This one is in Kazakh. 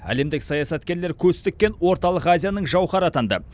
әлемдік саясаткерлер көз тіккен орталық азияның жауһары атанды